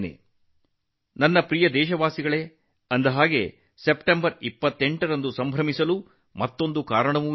ಅಂದಹಾಗೆ ನನ್ನ ಪ್ರೀತಿಯ ದೇಶವಾಸಿಗಳೇ ನೀವೆಲ್ಲರೂ ಸೆಪ್ಟೆಂಬರ್ 28 ಅನ್ನು ಸಂಭ್ರಮಿಸಲು ಇನ್ನೊಂದು ಕಾರಣವಿದೆ